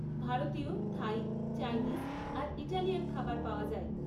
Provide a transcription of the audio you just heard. ভারতীয়, Thai, Chinese আর Italian খাবার পাওয়া যায়।